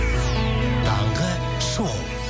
таңғы шоу